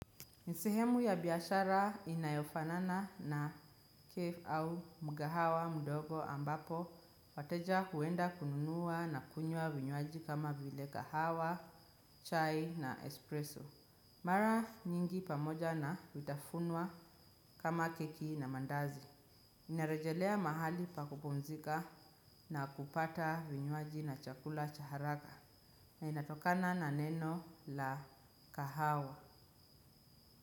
Ni sehemu ya biashara inayofanana na cafe au mgahawa mdogo ambapo wateja huenda kununua na kunywa vinywaji kama vile kahawa, chai na espresso. Mara nyingi pamoja na vitafunwa kama keki na mandazi. Inarejelea mahali pa kupumzika na kupata vinywaji na chakula cha haraka. Na inatokana na neno la kahawa.